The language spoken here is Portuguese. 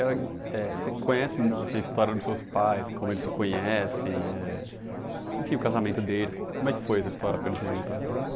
É, você conhece essa história dos seus pais, como eles se conhecem, eh enfim, o casamento deles, como é que foi essa história para eles se juntarem?